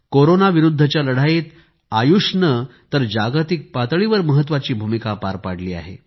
corona विरुद्धच्या लढाईत आयुषने तर जागतिक पातळीवर महत्वाची भूमिका पार पाडली आहे